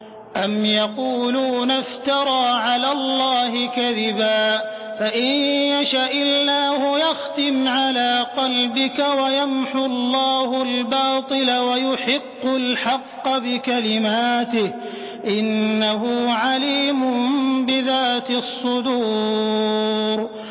أَمْ يَقُولُونَ افْتَرَىٰ عَلَى اللَّهِ كَذِبًا ۖ فَإِن يَشَإِ اللَّهُ يَخْتِمْ عَلَىٰ قَلْبِكَ ۗ وَيَمْحُ اللَّهُ الْبَاطِلَ وَيُحِقُّ الْحَقَّ بِكَلِمَاتِهِ ۚ إِنَّهُ عَلِيمٌ بِذَاتِ الصُّدُورِ